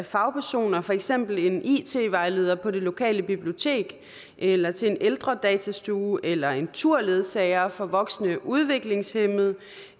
fagpersoner for eksempel en it vejleder på det lokale bibliotek eller til en ældredatastue eller en turledsager for voksne udviklingshæmmede